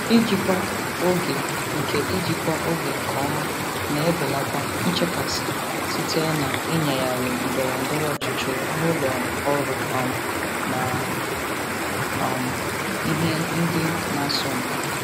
Ijikwa oge nke Ijikwa oge nke ọma na-ebelata nchekasị site na ịnyagharị ndọrọ ndọrọ ọchịchị ụlọ ọrụ um na um ihe ndị na-asọmpi.